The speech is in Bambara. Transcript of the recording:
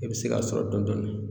I be se k'a sɔrɔ dɔndɔnin